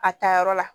A taa yɔrɔ la